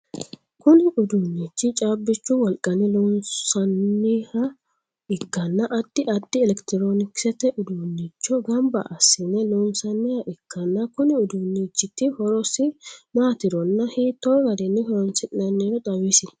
Kunni uduunichi caabichu wolqanni loosanoha ikanna addi addi elekitiroonikisete uduunicho gamba asine loonsoonniha ikanna konni uduunichiti horosi maatironna hiito garinni horoonsi'nanniro xawisi?